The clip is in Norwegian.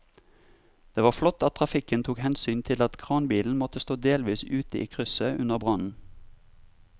Det var flott at trafikken tok hensyn til at kranbilen måtte stå delvis ute i krysset under brannen.